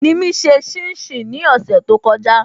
Nimi ṣe shin shin ní ọ̀sẹ̀ to kọjá